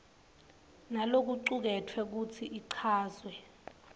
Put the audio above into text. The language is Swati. nalokucuketfwe futsi ichazwe